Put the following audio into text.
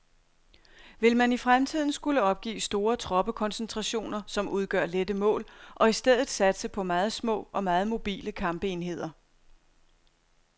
Vil man i fremtiden skulle opgive store troppekoncentrationer, som udgør lette mål, og i stedet satse på meget små og meget mobile kampenheder.